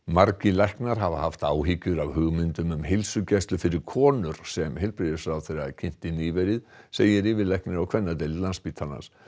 margir læknar hafa haft áhyggjur af hugmyndum um heilsugæslu fyrir konur sem heilbrigðisráðherra kynnti nýverið segir yfirlæknir á kvennadeild Landspítalans